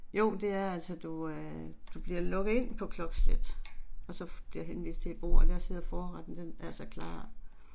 Jo det er altså, du øh du bliver lukket ind på klokkeslæt og så bliver henvist til et bord og der sidder forretten, den er så klar